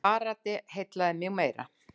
Karate heillaði mig meira.